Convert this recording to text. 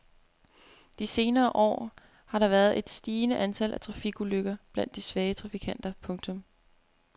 De senere år har der været et stigende antal trafikulykker blandt de svage trafikanter. punktum